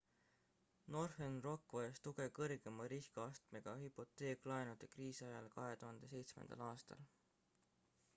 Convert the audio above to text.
northern rock vajas tuge kõrgema riskiastmega hüpoteeklaenude kriisi ajal 2007 aastal